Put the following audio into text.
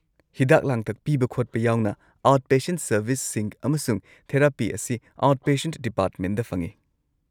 ꯍꯤꯗꯥꯛ-ꯂꯥꯡꯊꯛ ꯄꯤꯕ-ꯈꯣꯠꯄ ꯌꯥꯎꯅ ꯑꯥꯎꯠꯄꯦꯁꯦꯟ ꯁꯔꯕꯤꯁꯁꯤꯡ ꯑꯃꯁꯨꯡ ꯊꯦꯔꯥꯄꯤ ꯑꯁꯤ ꯑꯥꯎꯠꯄꯦꯁꯦꯟ ꯗꯤꯄꯥꯔꯠꯃꯦꯟꯗ ꯐꯪꯉꯤ ꯫